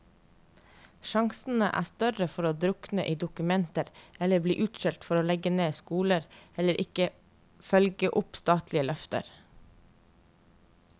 Sjansene er større for å drukne i dokumenter eller bli utskjelt for å legge ned skoler, eller ikke følge opp statlige løfter.